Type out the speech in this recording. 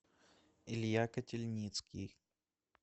илья котельницкий